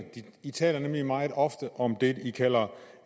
de taler nemlig meget ofte om det de kalder